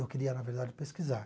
Eu queria, na verdade, pesquisar.